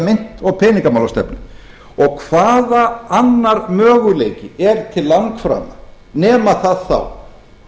mynt og peningamálastefnu og hvaða annar möguleiki er til langframa nema það þá